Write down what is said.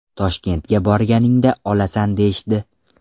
Toshkentga borganingda olasan deyishdi.